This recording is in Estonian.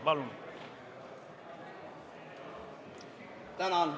Palun!